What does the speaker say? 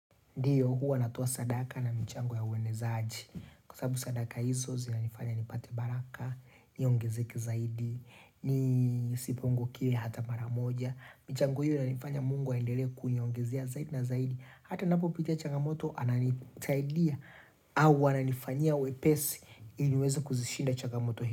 Ndiyo, huwa natoa sadaka na michango ya uwenezaji. Kwa sababu sadaka hizo, zina nifanya nipate baraka, niongezeke zaidi, nisipungukiwe hata mara moja. Michango hiyo, inafanya mungu aendele kuniongezea zaidi na zaidi. Hata ninapo pita chagamoto, ananisaidia. Au, ananifanya wepesi, ili niweza kuzishinda chagamoto.